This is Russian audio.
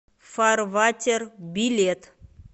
фарватер билет